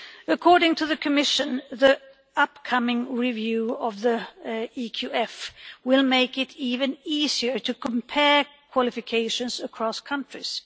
According to the Commission, the upcoming review of the EQF will make it even easier to compare qualifications across countries.